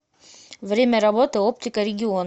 время работы оптика регион